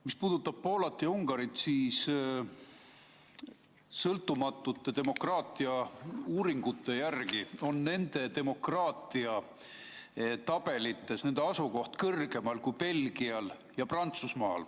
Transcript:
Mis puudutab Poolat ja Ungarit, siis sõltumatute demokraatiauuringute järgi on nende demokraatia asukoht tabelis kõrgemal kui Belgial ja Prantsusmaal.